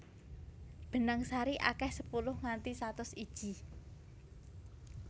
Benang sari akeh sepuluh nganti satus iji